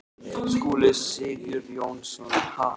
Skúli Sigurjónsson: Ha?